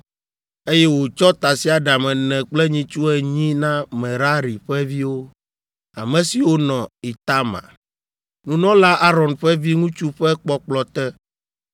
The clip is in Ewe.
eye wòtsɔ tasiaɖam ene kple nyitsu enyi na Merari ƒe viwo, ame siwo nɔ Itamar, nunɔla Aron ƒe viŋutsu ƒe kpɔkplɔ te.